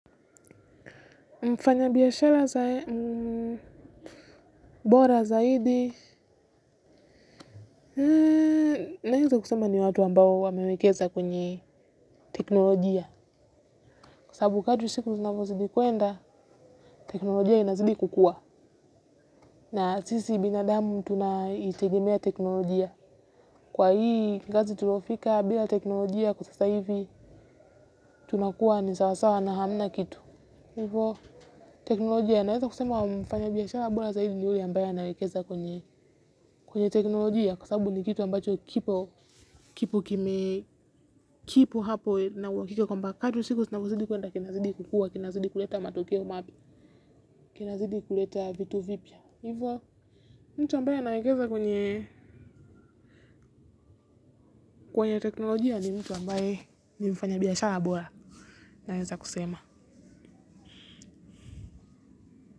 Mfanya biashara za bora zaidi naeza kusema ni watu ambao wamewekeza kwenye teknolojia. Kwa sababu kadri siku vinavyozidi kuenda, teknolojia inazidi kukua. Na sisi binadamu tunaitegemea teknolojia. Kwa hii kizazi tuliofika bila teknolojia kwa sasa hivi. Tunakuwa ni sasawa na hamna kitu. Hivo, teknolojia naeza kusema wamfanya biashara bora zaidi ni huyo ambaye anaekeza kwenye kwenye teknolojia kwa sababu ni kitu ambacho kipo kipo kime kipo hapo na uhakika kwamba kadri siku zinavyozidi kuenda kinazidi kukua kinazidi kuleta matokeo mapya. Kinazidi kuleta vitu vipya hivyo mtu ambaye anawekeza kwenye kwenye teknolojia ni mtu ambaye nimfanya biashara bora, naeza kusema.